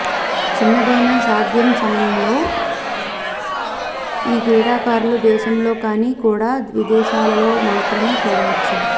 చిన్నదైన సాధ్యం సమయంలో ఈ క్రీడాకారులు దేశంలో కానీ కూడా విదేశాలలో మాత్రమే చూడవచ్చు